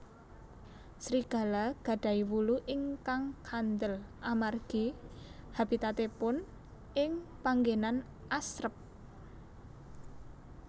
Serigala gadahi wulu ingkang kandel amargi habitatipun ing panggenan asrep